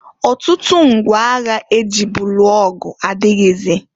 Ọtụtụ ngwa agha e jibu lụọ ọgụ adịghịzị.